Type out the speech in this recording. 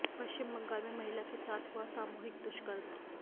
पश्चिम बंगाल में महिला के साथ हुआ सामूहिक दुष्कर्म